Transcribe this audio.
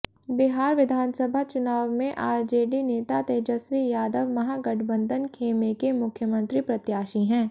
बिहार विधानसभा चुनाव में आरजेडी नेता तेजस्वी यादव महागठबंधन खेमे के मुख्यमंत्री प्रत्याशी हैं